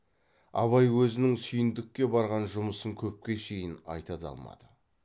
абай өзінің сүйіндікке барған жұмысын көпке шейін айта да алмады